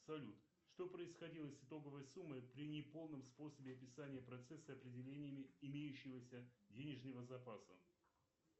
салют что происходило с итоговой суммой при неполном способе описания процесса определениями имеющегося денежного запаса